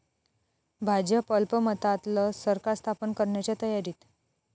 भाजप अल्पमतातलं सरकार स्थापन करण्याच्या तयारीत?